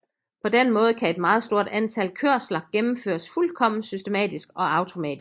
På den måde kan et meget stort antal kørsler gennemføres fuldkommen systematisk og automatisk